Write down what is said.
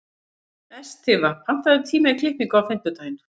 Estiva, pantaðu tíma í klippingu á fimmtudaginn.